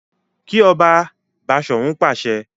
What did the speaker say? Ki ọba! Bashorun pàṣẹ.